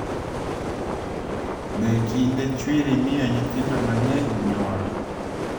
Be kinde chwiri miyo nyithindo mang’eny nyuol?